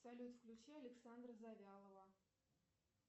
салют включи александра завьялова